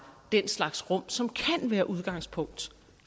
den slags rum som kan være udgangspunkt